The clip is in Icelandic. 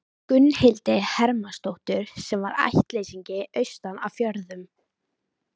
Gunnhildi Hermannsdóttur, sem var ættleysingi austan af fjörðum.